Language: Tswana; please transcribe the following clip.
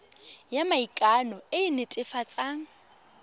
ya maikano e e netefatsang